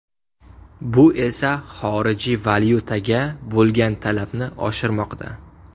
Bu esa xorijiy valyutaga bo‘lgan talabni oshirmoqda.